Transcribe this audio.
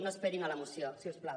no esperin a la moció si us plau